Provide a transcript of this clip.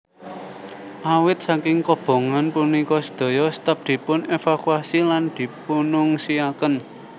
Awit saking kobongan punika sedaya staf dipun evakuasi lan dipunungsiaken